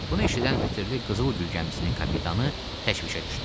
Bunu eşidən ətirli Qızılgül gəmisinin kapitanı təşvişə düşdü.